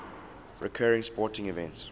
recurring sporting events